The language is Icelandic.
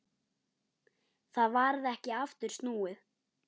Það varð ekki aftur snúið.